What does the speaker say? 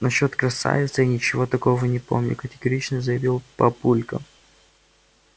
насчёт красавицы я ничего такого не помню категорично заявил папулька